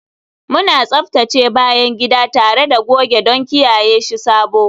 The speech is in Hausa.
Muna tsaftace bayan gida tare da goge don kiyaye shi sabo